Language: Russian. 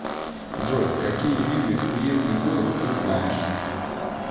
джой какие виды уездный город ты знаешь